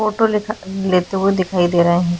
Photo लेखा लेते हुए दिखाई दे रहे हैं।